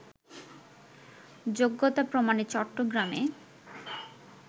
যোগ্যতা প্রমাণে চট্টগ্রামে